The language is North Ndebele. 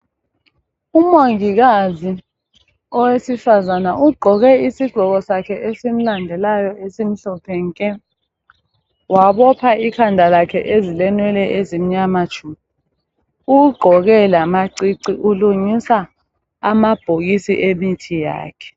umongikazi owesifazana ugqoke isigqoko sakhe esimlandeayo esimhlophe nke wabopha ikhanda lakha ezilenwele ezimnyama tshu ugqoke lamacici ulungisa amabhokisi wemithi yakhe